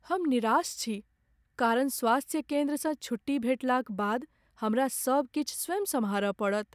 हम निराश छी कारण स्वास्थ्य केन्द्रसँ छुट्टी भेटलाक बाद हमरा सब किछु स्वयं सम्हारय पड़त।